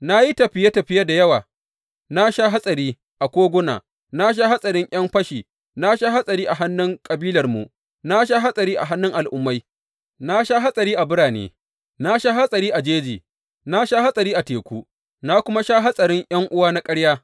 Na yi tafiye tafiye da yawa, na sha hatsari a koguna, na sha hatsarin ’yan fashi, na sha hatsari a hannun kabilarmu, na sha hatsari a hannun al’ummai, na sha hatsari a birane, na sha hatsari a jeji, na sha hatsari a teku, na kuma sha hatsarin ’yan’uwa na ƙarya.